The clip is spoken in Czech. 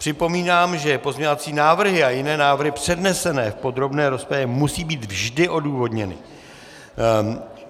Připomínám, že pozměňovací návrhy a jiné návrhy přednesené v podrobné rozpravě musí být vždy odůvodněny.